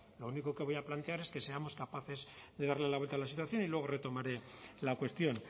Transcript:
lo único que voy a plantear es que seamos capaces de darle la vuelta a la situación y luego retomaré la cuestión